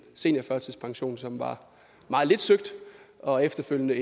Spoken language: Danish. seniorførtidspension som var meget lidt søgt og efterfølgende